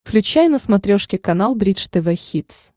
включай на смотрешке канал бридж тв хитс